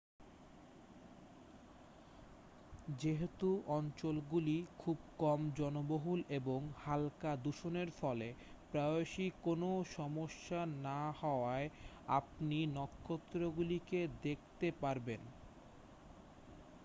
যেহেতু অঞ্চলগুলি খুব কম জনবহুল এবং হালকা দূষণের ফলে প্রায়শই কোনও সমস্যা না হওয়ায় আপনি নক্ষত্রগুলিকে দেখতে পারবেন